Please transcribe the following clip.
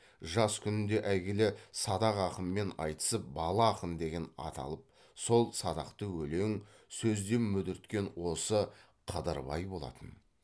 жас күнінде әйгілі садақ ақынмен айтысып бала ақын деген ат алып сол садақты өлең сөзде мүдірткен осы қыдырбай болатын